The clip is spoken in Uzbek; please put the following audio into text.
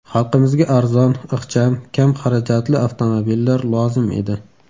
Xalqimizga arzon, ixcham, kam xarajatli avtomobillar lozim edi.